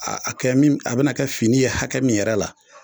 A akɛ min a bɛna kɛ fini ye hakɛ min yɛrɛ la